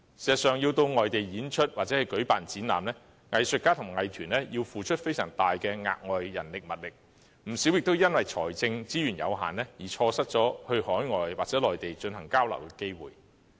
事實上，要到外地演出或舉辦展覽，藝術家和藝團要付出非常大的額外人力物力，不少也因為財政資源有限而錯失前往海外或內地交流的機會。